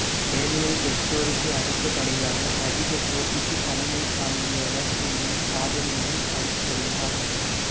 Daniel வெட்டோரிக்கு அடுத்தபடியாக அதிக போட்டிக்கு தலைமை தாங்கியவர் எனும் சாதனையைப் படைத்துள்ளார்